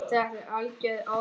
Þetta er algjör óþarfi.